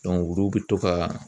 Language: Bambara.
olu bɛ to ka